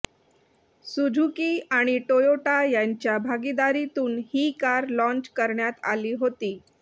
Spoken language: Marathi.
सुझुकी आणि टोयोटा यांच्या भागीदारीतून ही कार लाँच करण्यात आली होती